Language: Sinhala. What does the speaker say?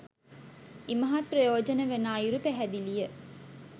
ඉමහත් ප්‍රයෝජන වන අයුරු පැහැදිලිය